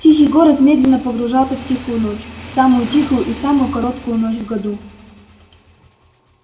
тихий город медленно погружался в тихую ночь самую тихую и самую короткую ночь в году